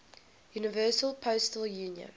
universal postal union